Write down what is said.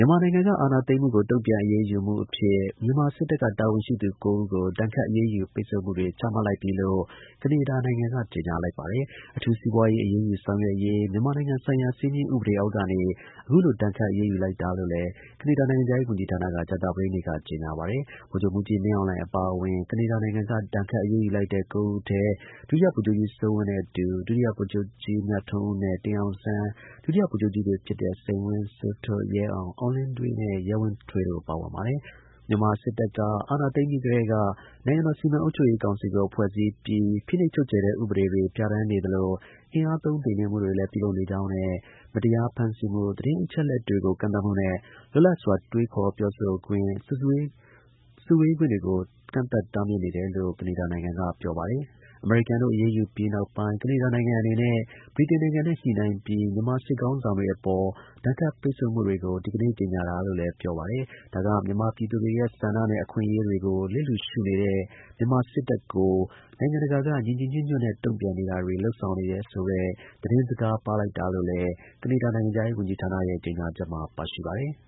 ြန်မာနိုင်ငံက အာဏာသိမ်းမှုကို တုံ့ပြန် အရေးယူမှုအဖြစ် ကနေဒါ နိုင်ငံက မြန်မာ စစ်တပ်က တာဝန်ရှိသူ ၉ ဦးကို ဒဏ်ခတ် အရေးယူ ပိတ်ဆို့မှုတွေ ချမှတ်လိုက်ပြီလို့ ကနေဒါနိုင်ငံက ကြေညာလိုက်ပါတယ်။ အထူး စီးပွားရေး အရေးယူဆောင်ရွက်ရေး မြန်မာနိုင်ငံဆိုင်ရာ စည်းမျဉ်းဥပဒေ အောက်ကနေ ဒဏ်ခတ် အရေးယူလိုက်တာလို့ ကနေဒါ နိုင်ငံခြားရေး ဝန်ကြီးဌာနက ကြာသပတေးနေ့က ကြေညာပါတယ်။ ဗိုလ်ချုပ်မှူးကြီး မင်းအောင်လှိုင် အပါအဝင် ကနေဒါနိုင်ငံက ဒဏ်ခတ် အရေးယူလိုက်သူ ၉ ဦးထဲ ဒုတိယဗိုလ်ချုပ်မှူးကြီး စိုးဝင်းနဲ့အတူ ဗိုလ်ချုပ်ကြီး မြထွန်းဦးနဲ့ တင်အောင်ဆန်း၊ ဒုတိယ ဗိုလ်ချုပ်ကြီးတွေဖြစ်တဲ့ စိန်ဝင်း၊ စိုးထွဋ်၊ ရဲအောင်၊ အောင်လင်းဒွေးနဲ့ ရဲဝင်းဦးတို့ ပါဝင်ပါတယ်။ ပိတ်ဆို့ အရေးယူခံရသူတွေ ပါဝင်တဲ့ မြန်မာစစ်တပ်က အာဏာသိမ်းပြီးကတည်းက နိုင်ငံတော် စီမံအုပ်ချုပ်ရေး ကောင်စီကို ဖွဲ့စည်း ပြီး ဖိနှိပ်ချုပ်ခြယ်တဲ့ ဥပဒေတွေပြဌာန်း နေသလို အင်အားသုံး နှိမ်နင်းမှုတွေလည်း ပြုနေကြောင်းနဲ့ မတရားဖမ်းဆီးမှု၊ သတင်းအချက် တွေကို ကန့်သတ်မှုနဲ့ လွတ်လပ်စွာ တွေးခေါ် ပြောဆိုခွင့်၊ စုဝေးခွင့်တွေကို ကန့်သတ်တားမြစ်နေတယ်လို့ ကနေဒါနိုင်ငံက ပြော ပါတယ်။ အမေရိကန်တို့ အရေးယူပြီးနောက်ပိုင်း ကနေဒါနိုင်ငံ အနေနဲ့ ဗြိတိန်နိုင်ငံနဲ့ ညှိနှိုင်းပြီး မြန်မာ စစ်ခေါင်းဆောင်တွေ အပေါ် ဒဏ်ခတ် ပိတ်ဆို့မှုတွေကို ဒီကနေ့ ကြေညာတာလို့လည်း ပြောပါတယ်။ ဒါက မြန်မာပြည်သူတွေရဲ့ ဆန္ဒနဲ့ အခွင့်အရေးတွေကို လစ်လျူရှု နေတဲ့ မြန်မာစစ်တပ်ကို နိုင်ငံတကာကညီညီညွတ်ညွတ်နဲ့ တုံ့ပြန်မှုတွေ လုပ်ဆောင်နေဆိုတဲ့ သတင်းစကားလို့လည်း ကနေဒါနိုင်ငံခြားရေး ဝန်ကြီးဌာနရဲ့ ကြေညာချက်မှာ ပါရှိပါတယ်။